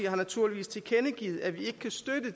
har naturligvis tilkendegivet at vi